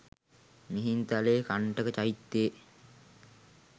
Mihintale Kantaka චෛත්‍යයේ